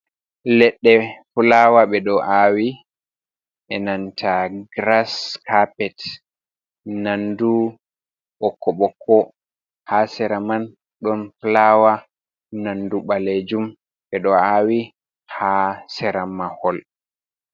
"Leɗɗe fulaawa" ɓeɗo awi enanta giras kapet nandu ɓokko-ɓokko ha sera man ɗon fulaawa nandu ɓalejum ɓeɗo awi ha sera mahol.